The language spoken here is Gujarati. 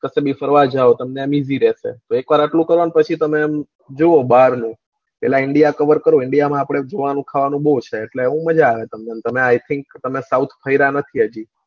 તમે ફરવા જાવ તમને આમ easy રેસે એક વાર આટલું કરવાનું પછી તમને જોવો આમ બાર નું પેલા indan covar કરો indan માં આપડે જોવાનું ખાવાનું બવ છે એટલે એમાં મજા આવે તમને તમે i thing તમે south ફર્યા નથી હજુ